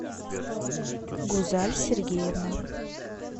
гузаль сергеевна